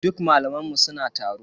Duk malaman mu suna taro.